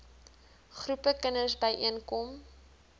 groepe kinders byeenkom